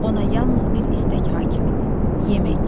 Ona yalnız bir istək hakimidir: yemək.